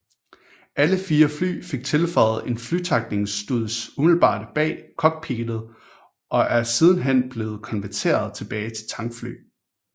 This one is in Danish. Alle fire fly fik tilføjet en flytankningsstuds umiddelbart bag cockpittet og er sidenhen blevet konverteret tilbage til tankfly